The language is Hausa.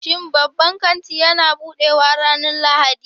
Shin babban kanti yana buɗewa ranar Lahadi?